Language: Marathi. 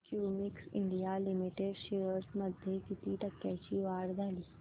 क्युमिंस इंडिया लिमिटेड शेअर्स मध्ये किती टक्क्यांची वाढ झाली